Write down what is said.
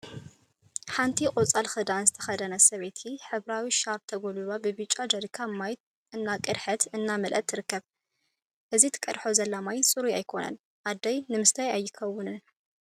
ሓንቲ ቆፃል ክዳን ዝተከደነት ሰበይቲ ሕብራዊ ሻርፕ ተጎልቢባ ብብጫ ጀሪካን ማይ እናቀድሐት/እናመልአት ትርከብ፡፡ እዚ ትቀድሖ ዘላ ማይ ፅሩይ አይኮነን፡፡ አይይ! ንምስታይ አይከውንን ፡፡